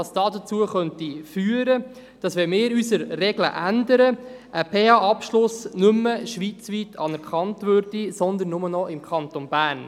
Wenn wir unsere Regeln änderten, könnte dies dazu führen, dass ein PH-Abschluss nicht mehr schweizweit anerkannt wäre, sondern nur noch im Kanton Bern.